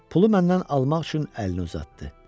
Pulu məndən almaq üçün əlini uzatdı.